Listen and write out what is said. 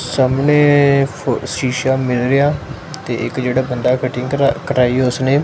ਸਾਹਮਣੇ ਫੁ ਸ਼ੀਸ਼ਾ ਮਿਰੇਰ ਆ ਤੇ ਇੱਕ ਜਿਹੜਾ ਬੰਦਾ ਕਟਿੰਗ ਕਰਾਈ ਉਸਨੇ--